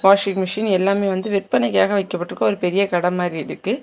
Washing machine எல்லாமே வந்து விற்பனைக்காக வைக்கப்பட்ருக்கு ஒரு பெரிய கடை மாதிரி இருக்கு.